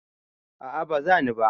a a ba zani ba